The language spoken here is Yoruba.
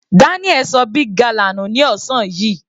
Daniel ṣọ big gala nù ní ọ̀sán yìí.